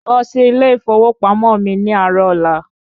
Lọ sí ilé ìfowópamọ́ mi ní àárọ̀ ọ̀la!